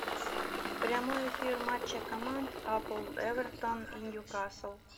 прямой эфир матча команд апл эвертон и ньюкасл